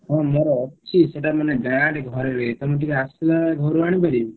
ହଁ ମୋର ଅଛି ସେଇଟା ମାନେ ଘରେ ରହିଯାଇଛି ତମେ ଟିକେ ଆସିଲା ବେଳେ ଘରୁ ଆଣିପାରିବ କି?